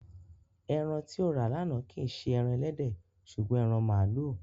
Ẹran tí o rà lánàá kì í ṣe ẹran ẹlẹ́dẹ̀ ṣùgbọ́n ẹran màlúù.